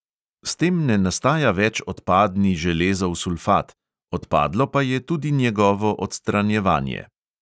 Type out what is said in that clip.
S tem ne nastaja več odpadni železov sulfat, odpadlo pa je tudi njegovo odstranjevanje.